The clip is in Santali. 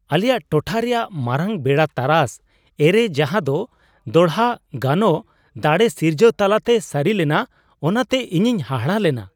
ᱟᱞᱮᱭᱟᱜ ᱴᱚᱴᱷᱟ ᱨᱮᱭᱟᱜ ᱢᱟᱨᱟᱝ ᱵᱮᱲᱟ ᱛᱟᱨᱟᱥ ᱮᱹᱨᱮ ᱡᱟᱦᱟᱸᱫᱚ ᱫᱚᱲᱦᱟ ᱜᱟᱱᱚᱜ ᱫᱟᱲᱮ ᱥᱤᱨᱡᱟᱹᱣ ᱛᱟᱞᱟᱛᱮ ᱥᱟᱹᱨᱤ ᱞᱮᱱᱟ ᱚᱱᱟᱛᱮ ᱤᱧᱤᱧ ᱦᱟᱦᱟᱲᱟᱜ ᱞᱮᱱᱟ ᱾